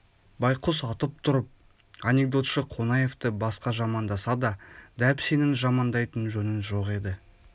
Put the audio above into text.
байқұс атып тұрып анекдотшы қонаевты басқа жамандаса да дәп сенің жамандайтын жөнің жоқ еді